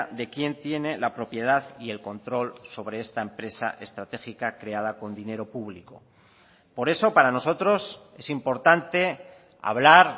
de quién tiene la propiedad y el control sobre esta empresa estratégica creada con dinero público por eso para nosotros es importante hablar